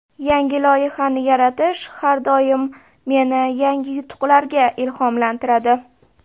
Yangi loyihani yaratish har doim meni yangi yutuqlarga ilhomlantiradi.